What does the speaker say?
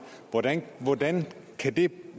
hvordan hvordan kan det